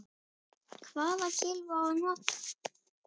Hvaða kylfu á að nota?